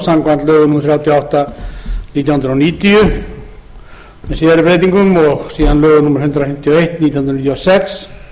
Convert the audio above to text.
samkvæmt lögum númer þrjátíu og átta nítján hundruð níutíu með síðari breytingum og síðan lögum númer hundrað fimmtíu og eitt nítján hundruð níutíu og sex